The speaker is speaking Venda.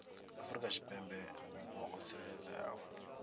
afrika tshipembe vhupo ho tsireledzeaho